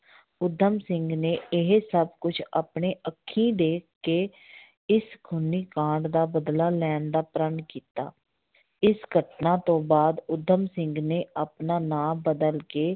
ਊਧਮ ਸਿੰਘ ਨੇ ਇਹ ਸਭ ਕੁਛ ਆਪਣੇ ਅੱਖੀ ਦੇਖ ਕੇ ਇਸ ਖੂਨੀ ਕਾਂਡ ਦਾ ਬਦਲਾ ਲੈਣ ਦਾ ਪ੍ਰਣ ਕੀਤਾ, ਇਸ ਘਟਨਾ ਤੋਂ ਬਾਅਦ ਊਧਮ ਸਿੰਘ ਨੇ ਆਪਣਾ ਨਾਂ ਬਦਲ ਕੇ